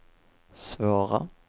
svåra